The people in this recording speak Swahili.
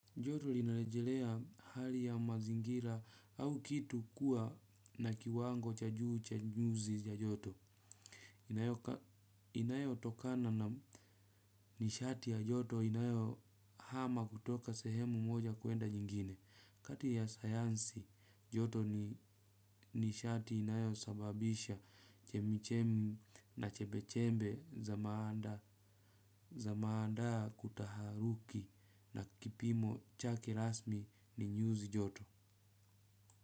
Joto linarejelea hali ya mazingira au kitu kuwa na kiwango cha juu cha nyuzi ya joto. Inayotokana na nishati ya joto inayo hama kutoka sehemu moja kuenda nyingine. Kati ya sayansi, joto ni nishati inayo sababisha chemi chemi na chembe chembe za maanda kutaharuki. Na kipimo cha kirasmi ni nyuzi joto.